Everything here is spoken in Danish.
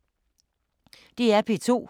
DR P2